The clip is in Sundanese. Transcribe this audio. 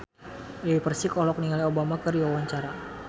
Dewi Persik olohok ningali Obama keur diwawancara